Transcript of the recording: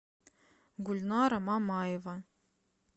гульнара мамаева